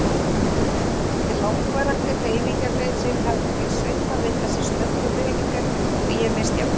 Eftir langvarandi hreyfingarleysi hafði mig svimað við þessar snöggu hreyfingar og ég misst jafnvægið.